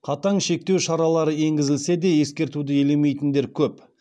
қатаң шектеу шаралары енгізілсе де ескертуді елемейтіндер көп